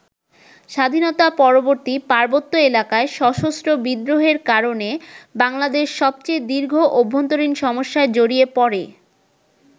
স্বাধীনতা-পরবর্তী পার্বত্য এলাকায় সশস্ত্র বিদ্রোহের কারণে বাংলাদেশ সবচেয়ে দীর্ঘ অভ্যন্তরীণ সমস্যায় জড়িয়ে পড়ে।